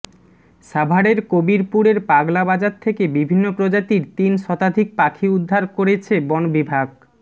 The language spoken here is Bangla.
সাভারের কবিরপুরের পাগলা বাজার থেকে বিভিন্ন প্রজাতির তিন শতাধিক পাখি উদ্ধার করেছে বন বিভাগ